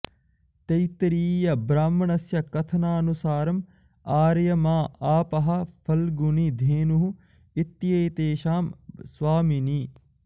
तैत्तिरीयब्राह्मणस्य कथनानुसारम् आर्यमा आपः फल्गुनी धेनुः इत्येतेषां स्वामिनी